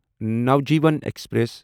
Navjeevan express